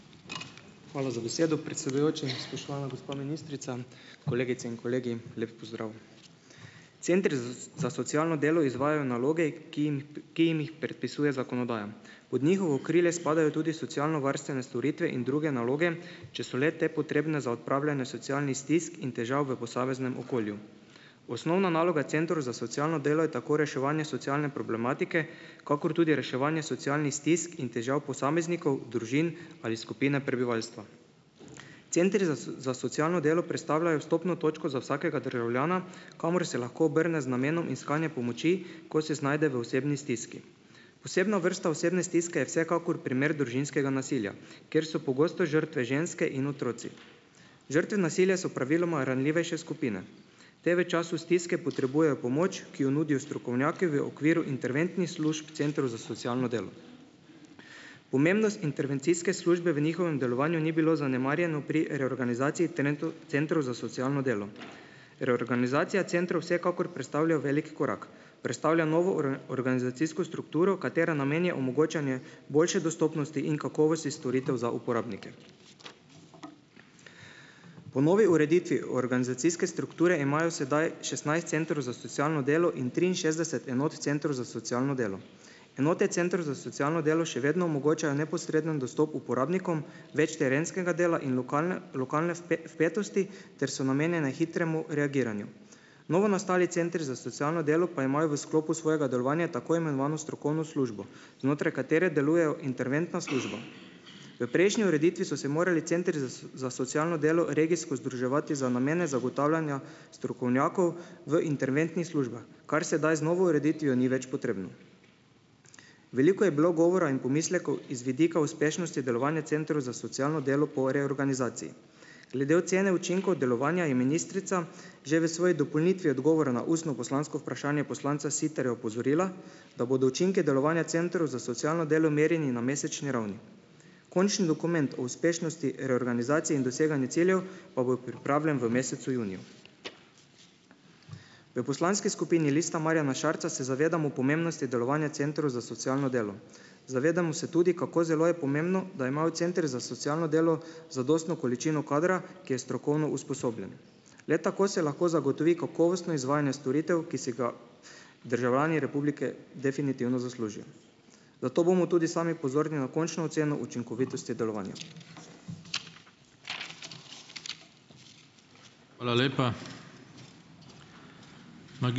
Hvala za besedo, predsedujoči. Spoštovana gospa ministrica, kolegice in kolegi, lep pozdrav! Centri za za socialno delo izvajajo naloge, ki jim jih ki jim jih predpisuje zakonodaja. Pod njihovo okrilje spadajo tudi socialnovarstvene storitve in druge naloge, če so le te potrebne za odpravljanje socialnih stisk in težav v posameznem okolju. Osnovna naloga centrov za socialno delo je tako reševanje socialne problematike kakor tudi reševanje socialnih stisk in težav posameznikov, družin ali skupine prebivalstva. Centri za za socialno delo predstavljajo vstopno točko za vsakega državljana kamor se lahko obrne z namenom iskanja pomoči, ko se znajde v osebni stiski. Posebna vrsta osebne stiske je vsekakor primer družinskega nasilja, kjer so pogosto žrtve ženske in otroci. Žrtve nasilja so praviloma ranljivejše skupine. Te v času stiske potrebujejo pomoč, ki jo nudijo strokovnjaki v okviru interventnih služb centrov za socialno delo. Pomembnost intervencijske službe v njihovem delovanju ni bilo zanemarjeno pri reorganizaciji centrov za socialno delo. Reorganizacija centrov vsekakor predstavljajo veliko korak, predstavlja novo organizacijsko strukturo, katere namen je omogočanje boljše dostopnosti in kakovosti storitev za uporabnike. Po novi ureditvi organizacijske strukture imajo sedaj šestnajst centrov za socialno delo in triinšestdeset enot centrov za socialno delo. Enote centrov za socialno delo še vedno omogočajo neposreden dostop uporabnikom, več terenskega dela in lokalne lokalne vpetosti ter so namenjene hitremu reagiranju. Novo nastali centri za socialno delo pa imajo v sklopu svojega delovanja tako imenovano strokovno službo, znotraj katere delujejo interventna služba. V prejšnji ureditvi so se morali centri za za socialno delo regijsko združevati za namene zagotavljanja strokovnjakov v interventnih službah, kar sedaj z novo ureditvijo ni več potrebno. Veliko je bilo govora in pomislekov iz vidika uspešnosti delovanja centrov za socialno delo po reorganizaciji. Glede ocene učinkov delovanja je ministrica že v svoji dopolnitvi odgovora na ustno poslansko vprašanje poslanca Siterja opozorila, da bodo učinke delovanja centrov za socialno delo merjeni na mesečni ravni. Končni dokument o uspešnosti reorganizacije in doseganje ciljev pa bo pripravljen v mesecu juniju. V poslanski skupini Lista Marjana Šarca se zavedamo pomembnosti delovanja centrov za socialno delo. Zavedamo se tudi, kako zelo je pomembno, da imajo centri za socialno delo zadostno količino kadra, ki je strokovno usposobljen. Le tako se lahko zagotovi kakovostno izvajanje storitev, ki si ga državljani republike definitivno zaslužijo, zato bomo tudi sami pozorni na končno oceno učinkovitosti delovanja.